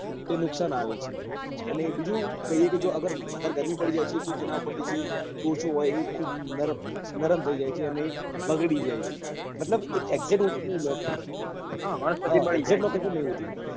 તે નુકસાન આવે છે અને બીજું કહીએ કે વધારે ગરમી પડી જાય તો એના ઉપર થી જે કોસો હોય એ ખુબ નરમ નરમ થઇ જાય છે તે બગડી જાય છે